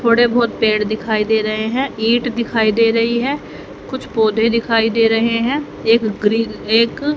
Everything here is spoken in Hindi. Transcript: थोड़े बहोत पेड़ दिखाई दे रहे हैं ईंट दिखाई दे रही है कुछ पौधे दिखाई दे रहे हैं एक ग्रील एक--